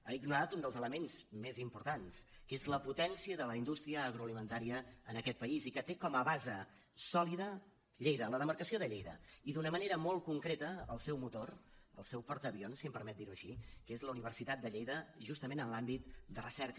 ha ignorat un dels elements més importants que és la potència de la indústria agroalimentària en aquest país i que té com a base sòlida lleida la demarcació de lleida i d’una manera molt concreta el seu motor el seu portaavions si em permet dir ho així que és la universitat de lleida justament en l’àmbit de recerca